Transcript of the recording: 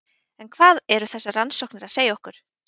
En hvað eru þessar rannsóknir að segja okkur?